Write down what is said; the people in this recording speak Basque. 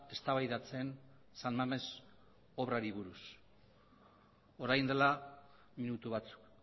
eztabaidatzen san mames obrari buruz orain dela minutu batzuk